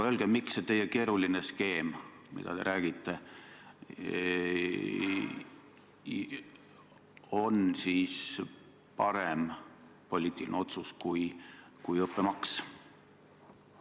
Aga miks see teie keeruline skeem, mida te pakute, on ikkagi parem poliitiline otsus kui õppemaks?